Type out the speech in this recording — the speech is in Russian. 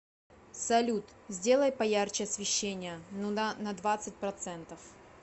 салют сделай поярче освещение ну да на двадцать процентов